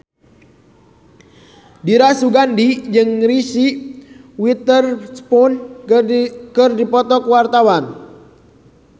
Dira Sugandi jeung Reese Witherspoon keur dipoto ku wartawan